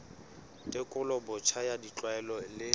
tekolo botjha ya ditlwaelo le